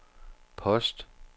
post